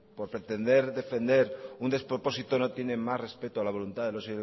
por pretender defender un despropósito no tiene más respeto a la voluntad de los